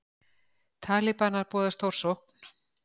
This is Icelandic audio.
Talibanar boða stórsókn